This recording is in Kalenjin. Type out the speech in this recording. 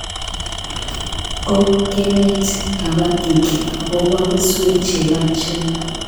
Kop kenet kapatik akopo keswek che yachen